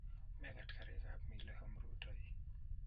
Mekat karikap mile om rutoi